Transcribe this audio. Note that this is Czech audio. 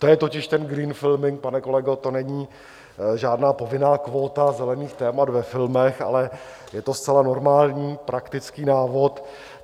To je totiž ten green filming, pane kolego, to není žádná povinná kvóta zelených témat ve filmech, ale je to zcela normální praktický návod.